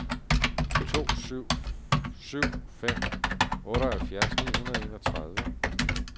to syv syv fem otteoghalvfjerds ni hundrede og enogtredive